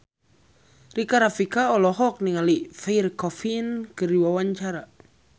Rika Rafika olohok ningali Pierre Coffin keur diwawancara